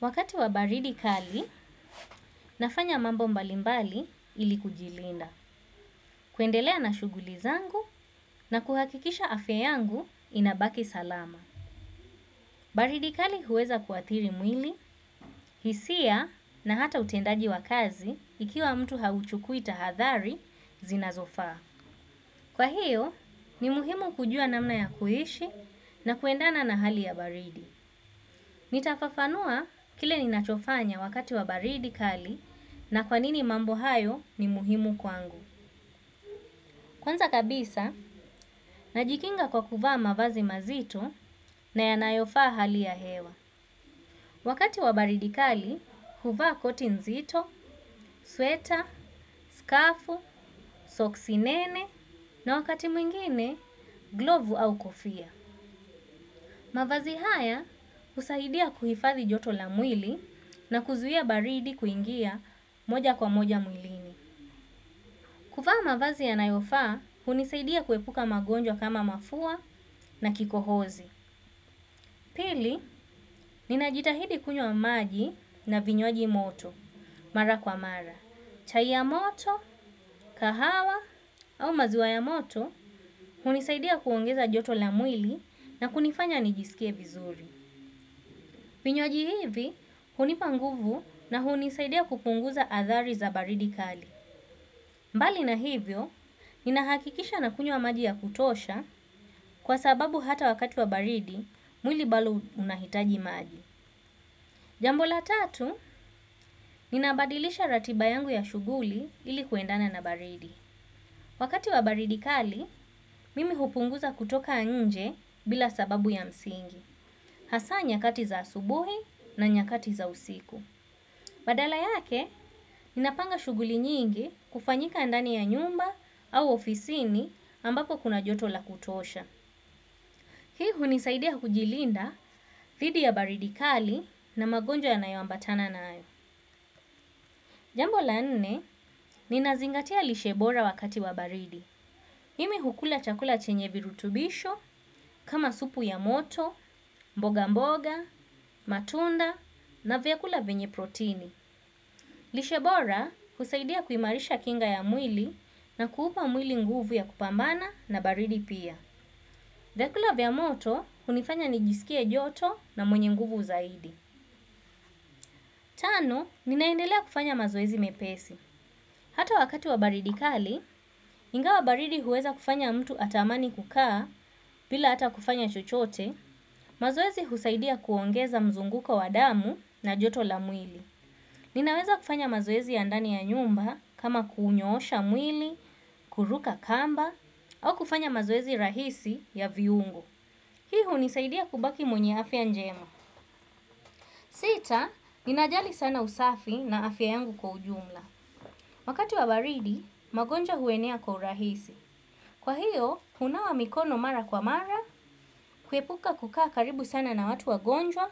Wakati wa baridi kali, nafanya mambo mbalimbali ili kujilinda. Kuendelea na shugulizangu na kuhakikisha afya yangu inabaki salama. Baridi kali huweza kuathiri mwili, hisia na hata utendaji wa kazi ikiwa mtu hauchukui tahadhari zina zofaa. Kwa hiyo, ni muhimu kujua namna ya kuishi na kuendana na hali ya baridi. Nitafafanua kile ninachofanya wakati wabaridi kali na kwanini mambo hayo ni muhimu kwangu. Kwanza kabisa, najikinga kwa kuvaa mavazi mazito na yanayofaa hali ya hewa wakati wa baridi kali huvaa koti nzito sweta skafu soksi nene na wakati mwingine glovu au kofia. Mavazi haya husaidia kuhifadhi joto la mwili na kuzuia baridi kuingia moja kwa moja mwilini. Kuvaa mavazi yanayofaa, hunisaidia kuepuka magonjwa kama mafua na kikohozi. Pili, ninajitahidi kunywa maji na vinywaji moto, mara kwa mara. Chai ya moto, kahawa au maziwa ya moto, hunisaidia kuongeza joto la mwili na kunifanya nijisikie vizuri. Vinywaji hivi, hunipa nguvu na hunisaidia kupunguza athari za baridi kali. Mbali na hivyo, ninahakikisha na kunywa maji ya kutosha kwa sababu hata wakati wa baridi, mwili bado unahitaji maji. Jambo la tatu, ninabadilisha ratiba yangu ya shughuli ilikuendana na baridi. Wakati wa baridi kali, mimi hupunguza kutoka nje bila sababu ya msingi. Hasa nyakati za asubuhi na nyakati za usiku. Badala yake, ninapanga shughuli nyingi kufanyika ndani ya nyumba au ofisini ambapo kuna joto la kutosha. Hii hunisaidia kujilinda dhidi ya baridikali na magonjwa ya nayo ambatana nayo. Jambo la nne, ninazingatia lishe bora wakati wa baridi. Mmi hukula chakula chenye virutubisho, kama supu ya moto, mboga mboga, matunda na vyakula vyenye protini. Lishe bora, husaidia kuimarisha kinga ya mwili na kuupa mwili nguvu ya kupambana na baridi pia vyakula vya moto, hunifanya nijisikie joto na mwenye nguvu zaidi. Tano, ninaendelea kufanya mazoezi mepesi. Hata wakati wa baridi kali, ingawa baridi huweza kufanya mtu atamani kukaa bila hata kufanya chochote mazoezi husaidia kuongeza mzunguko wa damu na joto la mwili. Ninaweza kufanya mazoezi ya ndani ya nyumba kama kuunyosha mwili, kuruka kamba, au kufanya mazoezi rahisi ya viungo. Hii hunisaidia kubaki mwenye afya njema. Sita, ninajali sana usafi na afya yangu kwa ujumla. Wakati wa baridi magonjwa huenea kwa urahisi. Kwa hiyo, hunawa mikono mara kwa mara, kuepuka kukaa karibu sana na watu wagonjwa,